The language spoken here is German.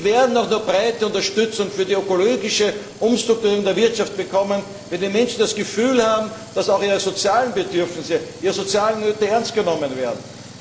Denn wir werden nur dann breite Unterstützung für die ökologische Umstrukturierung der Wirtschaft bekommen, wenn die Menschen das Gefühl haben, dass auch ihre sozialen Bedürfnisse, ihre sozialen Nöte ernst genommen werden.